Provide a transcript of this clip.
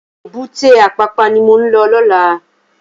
Ébùté Apapa ni mó n lò lòlá